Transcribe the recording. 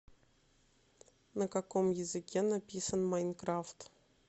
на каком языке написан майнкрафт